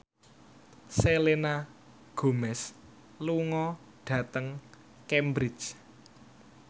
Selena Gomez lunga dhateng Cambridge